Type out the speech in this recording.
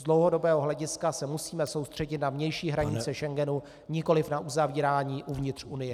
Z dlouhodobého hlediska se musíme soustředit na vnější hranice Schengenu, nikoliv na uzavírání uvnitř Unie.